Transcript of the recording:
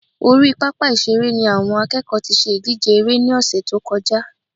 Orí pápá ìṣeré ni àwọn akẹ́kọ̀ọ́ tí ṣe ìdíje eré ní ọ̀sẹ̀ tó kọjá